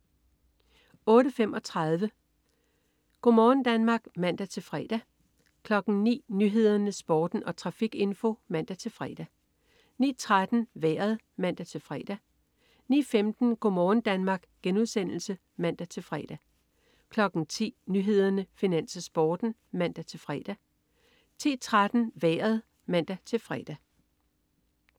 08.35 Go' morgen Danmark (man-fre) 09.00 Nyhederne, Sporten og trafikinfo (man-fre) 09.13 Vejret (man-fre) 09.15 Go' morgen Danmark* (man-fre) 10.00 Nyhederne, Finans, Sporten (man-fre) 10.13 Vejret (man-fre)